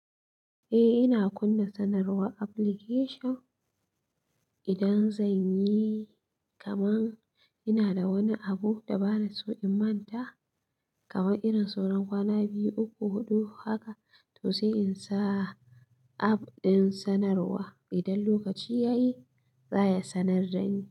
Eh, ina kunna sanarwar application idan zan yi. Kaman ina da wani abu da bana so in manta, kaman irin sauran kwana biyu, uku, huɗu haka, to sai in sa app ɗin sanarwa. Idan lokaci ya yi, za ya sanar dani.